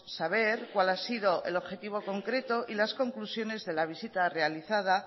saber cuál ha sido el objetivo concreto y las conclusiones de la visita realizada